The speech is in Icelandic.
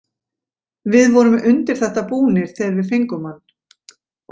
Við vorum undir þetta búnir þegar við fengum hann.